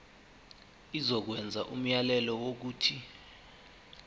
izokwenza umyalelo wokuthi